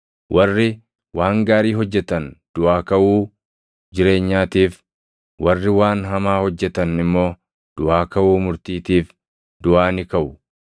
Warri waan gaarii hojjetan duʼaa kaʼuu jireenyaatiif, warri waan hamaa hojjetan immoo duʼaa kaʼuu murtiitiif duʼaa ni kaʼu.